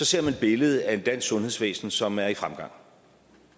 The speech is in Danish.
ser man et billede af dansk sundhedsvæsen som er i fremgang